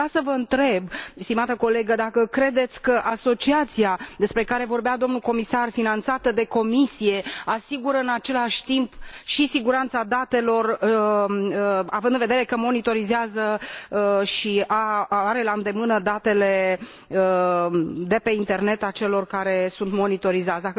Aș vrea să vă întreb, stimată colegă, dacă credeți că asociația despre care vorbea domnul comisar, finanțată de Comisie, asigură în același timp și siguranța datelor, având în vedere că monitorizează și are la îndemână datele de pe Internet ale celor care sunt monitorizați.